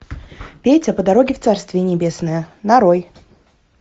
петя по дороге в царствие небесное нарой